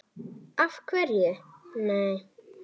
Af hverju nei?